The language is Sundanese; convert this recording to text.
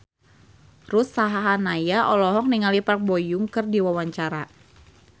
Ruth Sahanaya olohok ningali Park Bo Yung keur diwawancara